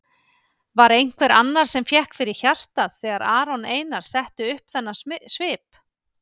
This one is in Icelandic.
Var einhver annar sem fékk fyrir hjartað þegar Aron Einar setti upp þennan svip?